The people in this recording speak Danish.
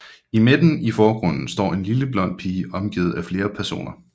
I midten i forgrunden står en lille blond pige omgivet af flere personer